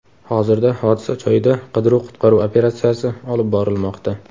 Hozirda hodisa joyida qidiruv-qutqaruv operatsiyasi olib borilmoqda.